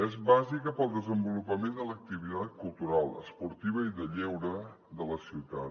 és bàsica per al desenvolupament de l’activitat cultural esportiva i de lleure de la ciutat